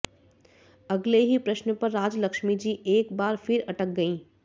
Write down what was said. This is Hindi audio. अगले ही प्रश्न पर राजलक्ष्मी जी एक बार फिर अटक गईं